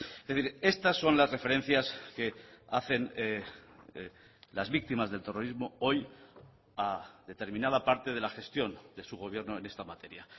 es decir estas son las referencias que hacen las víctimas del terrorismo hoy a determinada parte de la gestión de su gobierno en esta materia